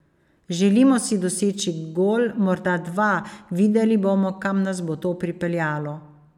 Želimo si doseči gol, morda dva, videli bomo, kam nas bo to pripeljalo.